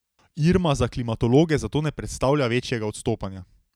Irma za klimatologe zato ne predstavlja večjega odstopanja.